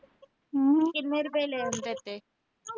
ਕਿੰਨੇ ਰੁਪਏ ਲਏ ਉਹਨੇ ਤੇਰੇ ਤੇ